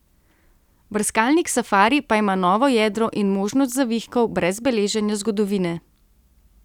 Brskalnik safari pa ima novo jedro in možnost zavihkov brez beleženja zgodovine.